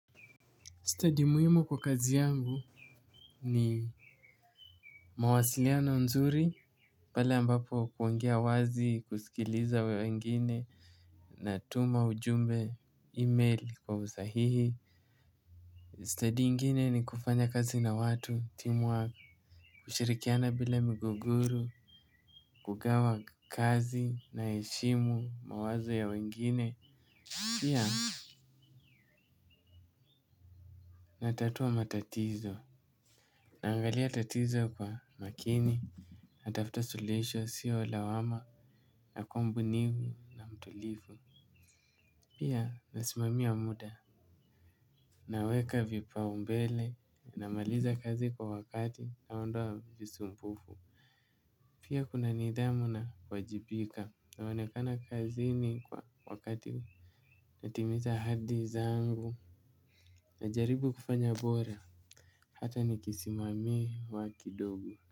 Stadi muhimu kwa kazi yangu ni mawasiliano nzuri, pale ambapo kuongia wazi kusikiliza wengine, natuma ujumbe email kwa usahihi. Stadi ingine ni kufanya kazi na watu, teamwork, kushirikiana bila migogoro kugawa kazi naheshimu mawazo ya wengine. Pia, natatua matatizo, naangalia tatizo kwa makini. Natafta suluhisho siyo lawama la kuwa mbunifu na mtulivu. Pia nasimamia muda. Naweka vipaumbele namaliza kazi kwa wakati naondoa visu mpufu. Pia kuna nidhamu nawajibika naonekana kazi ni kwa wakati. Natimiza ahadi zangu. Najaribu kufanya bora hata nikisimamiwa kidogo.